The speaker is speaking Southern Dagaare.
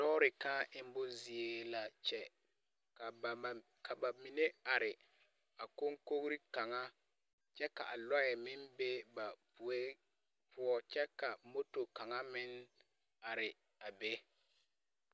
Lɔɔre kãã emmo zie la kyɛ, ka bam ka ba mine are a kɔŋkogiri kaŋa kyɛ ka a lɔɛ meŋ be ba poe poɔ kyɛ ka moto kaŋa meŋ are a be.